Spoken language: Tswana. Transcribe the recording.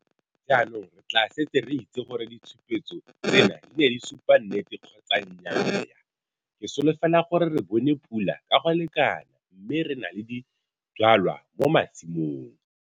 Jaanong re tlaa setse re itse gore ditshupetso tsena di ne di supa nnete kgotsa nnyaaya? Ke solofela gore re bone pula ka go lekana mme re na le dijwalwa mo masimong.